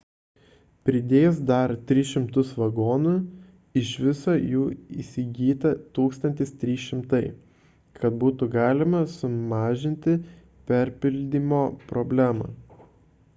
pridėjus dar 300 vagonų iš viso jų įsigyta 1 300 kad būtų galima sumažinti perpildymo problemą